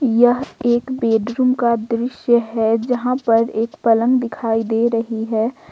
यह एक बेडरूम का दृश्य है जहां पर एक पलंग दिखाई दे रही है।